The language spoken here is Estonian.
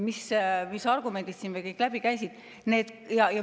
Mis argumendid siin veel läbi käisid?